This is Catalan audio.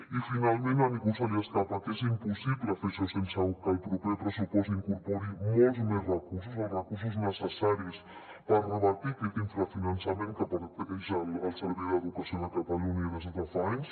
i finalment a ningú se li escapa que és impossible fer això sense que el proper pressupost incorpori molts més recursos els recursos necessaris per revertir aquest infrafinançament que pateix el servei d’educació de catalunya des de fa anys